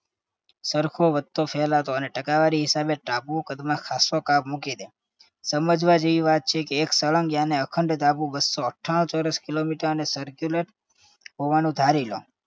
સરખો વધતો ફેલાતો અને ટકાવારી હિસાબે ટાપુ કદમાં ખાસ્સો કાપ મૂકી દે. સમજવા જેવી વાત છે કે એક સળંગ યાને અખંડ ટાપુ બસ્સો અઠ્ઠાણું ચોરસ kilometer અને circular હોવાનું ધારી લો